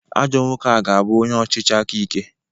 Ajọ nwoke a ga-abụ onye ọchịchị akaike